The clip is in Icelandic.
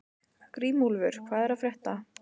Grímúlfur, hvað er að frétta?